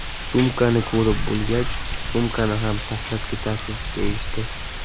Sumkani ko‘rib bo‘lgach, sumkani ham tashlab ketasiz, deyishdi.